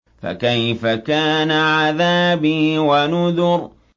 فَكَيْفَ كَانَ عَذَابِي وَنُذُرِ